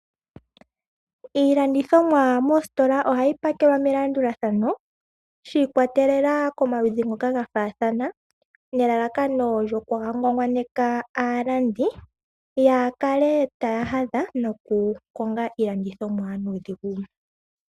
Iilandithomwa moositola ohayi pakelwa melandulathano shiikwatelela komaludhi ngoka gafaathana nelalakano lyoku haangwangwaneka aalandi yaa kale taya adha nokukonga iilandithomwa nuudhigu.